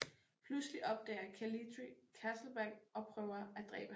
Pludselig opdager Calitri Castlebeck og prøver at dræbe ham